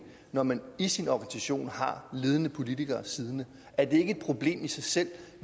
når man i sin organisation har ledende politikere siddende er det ikke et problem i sig selv